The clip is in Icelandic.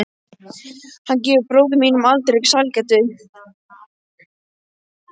Hann gefur bróður mínum aldrei sælgæti.